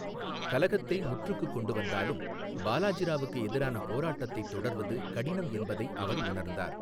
கலகத்தை முற்றுக்குக் கொண்டுவந்தாலும், பாலாஜி ராவுக்கு எதிரான போராட்டத்தைத் தொடர்வது கடினம் என்பதை அவர் உணர்ந்தார்.